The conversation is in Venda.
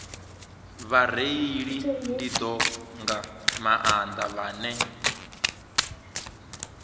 vhareili nḓivho nga maanḓa vhane